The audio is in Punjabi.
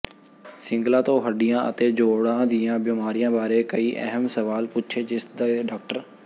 ਸਿੰਗਲਾ ਤੋਂ ਹੱਡੀਆਂ ਅਤੇ ਜੋੜਾਂ ਦੀਆਂ ਬਿਮਾਰੀਆਂ ਬਾਰੇ ਕਈ ਅਹਿਮ ਸਵਾਲ ਪੁੱਛੇ ਜਿਸ ਦੇ ਡਾ